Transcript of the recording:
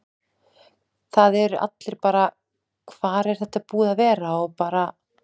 Það eru allir bara: Hvar er þetta búið að vera? og bara.